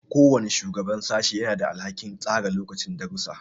Kowane shugaban sashe yana da alhakin tsara lokacin darussa.